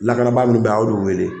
Lakanabaa min bɛ yen a y'o de wele